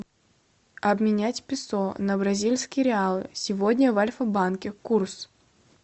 обменять песо на бразильские реалы сегодня в альфа банке курс